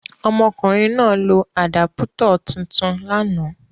Ọmọkùnrin náà lo àdápútọ̀ tuntun lánàá.